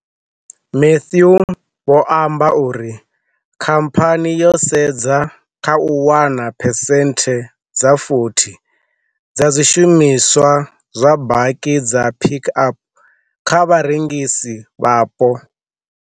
Matthew vho amba uri khamphani yo sedza kha u wana phese nthe dza 40 dza zwishumi swa zwa baki dza Pik Up kha vharengisi vhapo.